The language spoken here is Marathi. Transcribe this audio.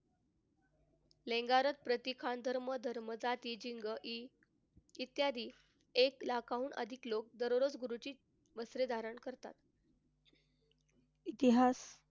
इत्यादी एक लाखांहून अधिक लोक दररोज गुरुची वस्त्रे धारण करतात. इतिहास.